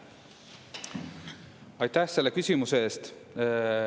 Aitäh selle küsimuse eest!